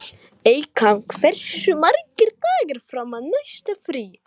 Eykam, hversu margir dagar fram að næsta fríi?